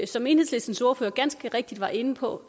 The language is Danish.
som enhedslistens ordfører ganske rigtigt var inde på